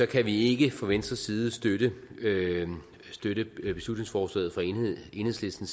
kan vi ikke fra venstres side støtte støtte beslutningsforslaget fra enhedslisten